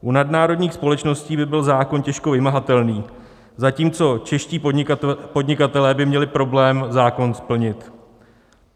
U nadnárodních společností by byl zákon těžko vymahatelný, zatímco čeští podnikatelé by měli problém zákon splnit.